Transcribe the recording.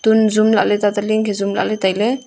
um jum lahle tata le ne khe jum lahle tai ley.